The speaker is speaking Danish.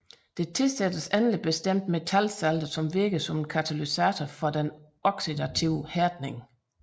Der tilsættes endelig bestemte metalsalte som virker som katalysatorer for den oxidative hærdning